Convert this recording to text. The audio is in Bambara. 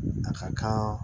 A ka kan